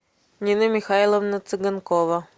нина михайловна цыганкова